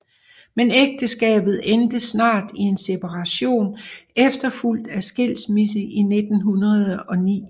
Men ægteskabet endte snart i en separation efterfulgt af skilsmisse i 1909